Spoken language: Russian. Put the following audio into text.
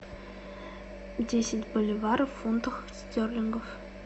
десять боливаров в фунтах стерлингов